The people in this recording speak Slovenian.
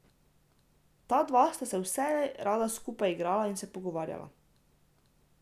Ta dva sta se vselej rada skupaj igrala in se pogovarjala.